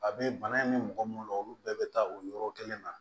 A bɛ bana in di mɔgɔ minnu ma olu bɛɛ bɛ taa o yɔrɔ kelen na